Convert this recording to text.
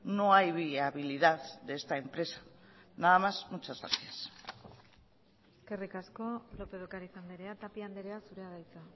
no hay viabilidad de esta empresa nada más muchas gracias eskerrik asko lópez de ocariz andrea tapia andrea zurea da hitza